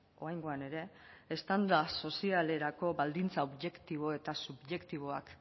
oraingoan ere eztanda sozialerako baldintza objektibo eta subjektiboak